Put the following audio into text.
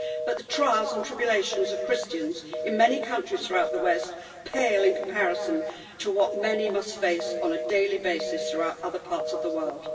But the trials and tribulations of Christians in many countries throughout the West pale in comparison to what many must face on a daily basis throughout other parts of the world.